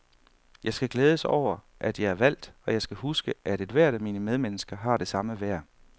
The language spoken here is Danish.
Jeg skal glædes over, at jeg er valgt, og jeg skal huske, at ethvert af mine medmennesker har det samme værd.